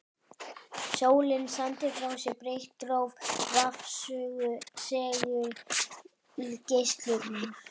Sólin sendir frá sér breitt róf rafsegulgeislunar.